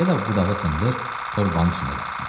Ya da budağı sındır, torbanın içində qalsın.